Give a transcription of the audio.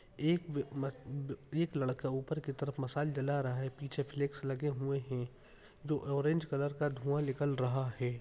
एक एक लड़का ऊपर की तरफ मसाल जला रहा है पीछे फ्लेक्स लगे हुए है जो ऑरेंज कलर का धुआँ निकल रहा है।